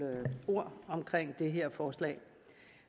ord omkring det her forslag